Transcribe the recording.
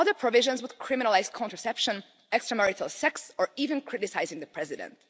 Other provisions would criminalise contraception, extramarital sex or even criticising the president.